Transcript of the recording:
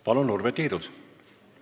Palun, Urve Tiidus!